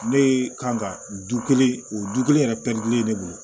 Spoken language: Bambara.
Ne kan ka du kelen o du kelen yɛrɛ pɛrɛntilen ne bolo